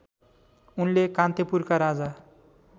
उनले कान्तिपुरका राजा